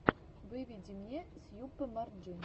выведи мне сьюпе марджин